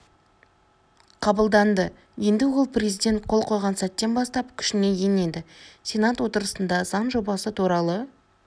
қабылданды енді ол президент қол қойған сәттен бастап күшіне енеді сенат отырысында заң жобасы туралы